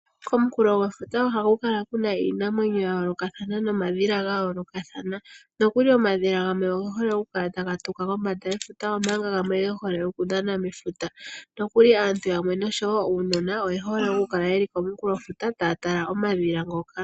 Komukulofuta oha ku kala kuna iinamwenyo yayoolokathana nomadhila gayoolokathana . nokuli omadhila gamwe oge hole okutuka kombanda, go gamwe oge hole okudhana mefuta. Nokuli aantu yamwe noshowoo uunona oyehole okukala komukulofuta, taya tala omadhila ngoka.